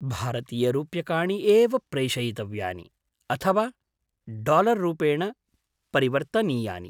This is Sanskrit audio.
भारतीयरूप्यकाणि एव प्रेषयितव्यानि, अथवा डालर् रूपेण परिवर्तनीयानि?